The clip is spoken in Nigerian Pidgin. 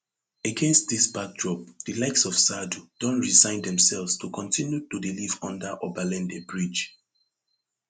against dis backdrop di likes of saadu don resign demselves to kontinu to dey live under obalende bridge